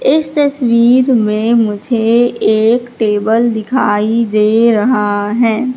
इस तस्वीर में मुझे एक टेबल दिखाई दे रहा है।